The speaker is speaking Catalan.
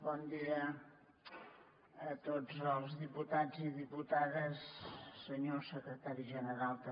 bon dia a tots els diputats i diputades senyor secretari general també